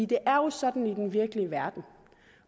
det er jo sådan i den virkelige verden